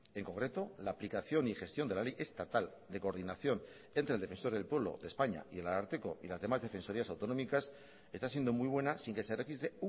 en concreto la aplicación y gestión de la ley estatal de coordinación entre el defensor del pueblo de españa y el ararteko y las demás defensorías autonómicas está siendo muy buena sin que se registre